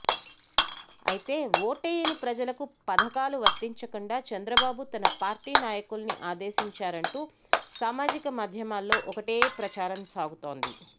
అయితే ఓటేయని ప్రజలకు పథకాలు వర్తించకుండా చంద్రబాబు తమ పార్టీ నాయకుల్ని ఆదేశించారంటూ సామాజిక మాధ్యమాల్లో ఒకటే ప్రచారం సాగుతోంది